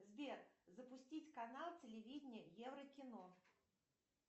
сбер запустить канал телевидения еврокино